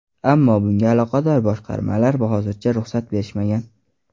Ammo bunga aloqador boshqarmalar hozircha ruxsat berishmagan.